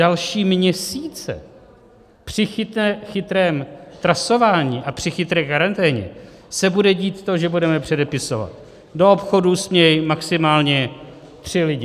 Další měsíce při chytrém trasování a při chytré karanténě se bude dít to, že budeme předpisovat: do obchodů smějí maximálně tři lidé.